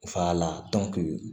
Fa la